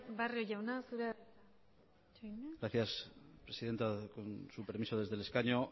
barrio jauna zurea da hitza gracias presidenta con su permiso desde el escaño